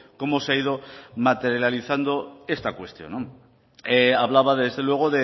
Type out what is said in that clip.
cómo se ha ido materializado esta cuestión hablaba desde luego